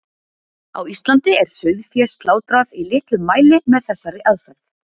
Á Íslandi er sauðfé slátrað í litlum mæli með þessari aðferð.